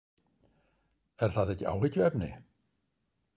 Er það ekki áhyggjuefni?